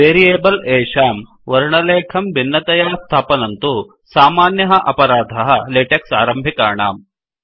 variables एषां वर्णलेखं भिन्नतया स्थापनं तु सामान्यः अपराधः लेटेक्स् आरम्भिकाणाम्